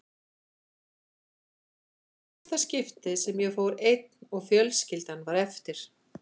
Þetta var í fyrsta skiptið sem ég fór einn og fjölskyldan var eftir.